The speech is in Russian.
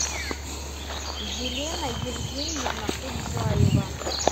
елена евгеньевна куджаева